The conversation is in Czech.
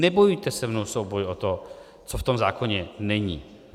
Nebojujte se mnou souboj o to, co v tom zákoně není.